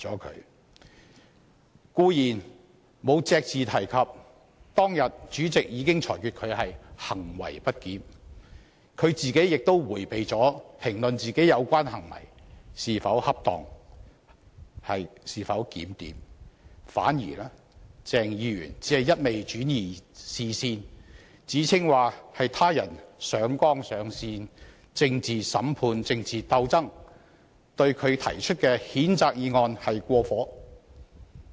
他固然隻字不提當天主席裁決他行為不檢，亦迴避評論自己的有關行為是否恰當和檢點，反而不住轉移視線，指稱他人上綱上線、政治審判、政治鬥爭，對他提出讉責議案是過火。